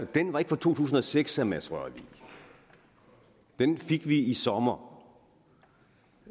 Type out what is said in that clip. den var ikke fra to tusind og seks jeg mads rørvig den fik vi i sommer